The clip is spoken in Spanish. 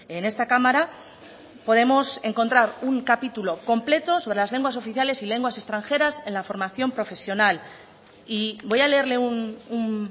en esta cámara podemos encontrar un capítulo completo sobre las lenguas oficiales y lenguas extranjeras en la formación profesional y voy a leerle un